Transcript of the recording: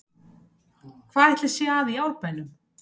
Hvað ætli sé að í Árbænum?